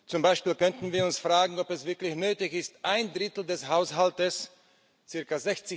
Zum Beispiel könnten wir uns fragen, ob es wirklich nötig ist, ein Drittel des Haushalts ca.